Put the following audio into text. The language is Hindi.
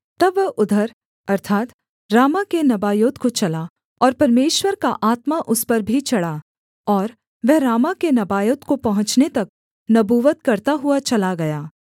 तब वह उधर अर्थात् रामाह के नबायोत को चला और परमेश्वर का आत्मा उस पर भी चढ़ा और वह रामाह के नबायोत को पहुँचने तक नबूवत करता हुआ चला गया